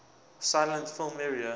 silent film era